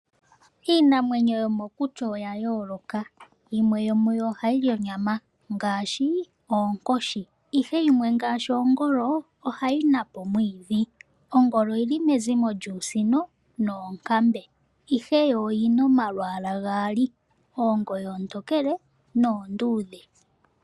Iinamwenyo yomokuti oyayooloka, yimwe yomu yo ohayi li onyama ngaashi oonkoshi ihe yimwe ngaashi oongolo ohayi napa omwiidhi. Ongolo oyili Mexico lyuusino noonkambe ihe yo oyina omalwaala gaali, oongoyo oontokele noonduudhe.